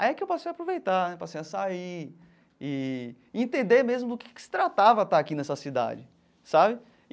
Aí é que eu passei a aproveitar né, passei a sair e e entender mesmo do que que se tratava estar aqui nessa cidade, sabe?